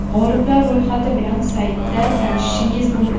G‘oliblar ro‘yxati bilan saytida tanishishingiz mumkin.